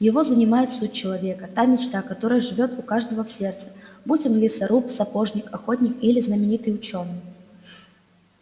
его занимает суть человека та мечта которая живёт у каждого в сердце будь он лесоруб сапожник охотник или знаменитый учёный